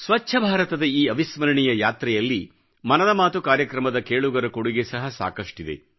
ಸ್ವಚ್ಚ ಭಾರತದ ಈ ಅವಿಸ್ಮರಣೀಯ ಯಾತ್ರೆಯಲ್ಲಿ ಮನದ ಮಾತು ಕಾರ್ಯಕ್ರಮದ ಕೇಳುಗರ ಕೊಡುಗೆ ಸಹ ಸಾಕಷ್ಟಿದೆ